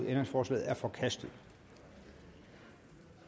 ændringsforslaget er forkastet